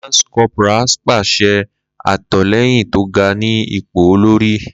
Lance corporals pese atolẹyin to ga-ni ipo olori.